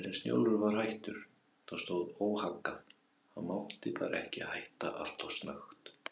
En Snjólfur var hættur, það stóð óhaggað, hann mátti bara ekki hætta alltof snöggt.